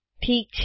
ઠીક છે